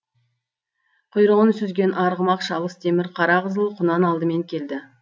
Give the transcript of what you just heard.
құйрығын сүзген арғымақ шалыс темір қара қызыл құнан алдымен келді